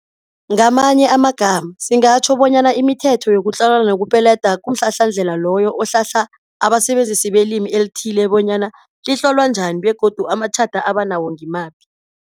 Ngamanye amagama singatjho bonyana imithetho yokutlola nokupeleda kumhlahlandlela loyo ohlahla abasebenzisi belimi elithe bonyana litlolwa njani begodu amatjhada abanawo ngimaphi.